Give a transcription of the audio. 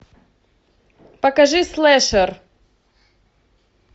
покажи слэшер